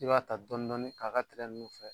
I b'a ta dɔn dɔnin k'a ka tɛrɛ ninnu fɛ